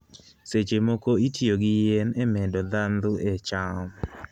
Seche moko itiyo gi yien e medo ndhadhu ne cham.